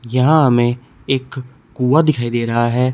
यहां हमें एक कुआं दिखाई दे रहा है।